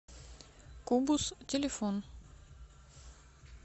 кубус телефон